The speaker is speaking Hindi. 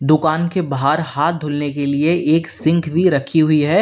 दुकान के बाहर हाथ धुलने के लिए एक सिंक भी रखी हुई है।